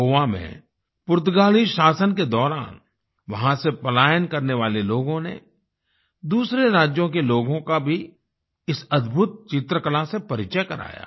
गोवा में पुर्तगाली शासन के दौरान वहाँ से पलायन करने वाले लोगों ने दूसरे राज्यों के लोगों का भी इस अद्भुत चित्रकला से परिचय कराया